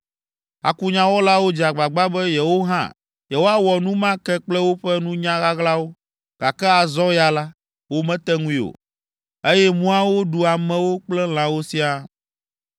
Akunyawɔlawo dze agbagba be yewo hã yewoawɔ nu ma ke kple woƒe nunya ɣaɣlawo, gake azɔ ya la, womete ŋui o, eye muawo ɖu amewo kple lãwo siaa.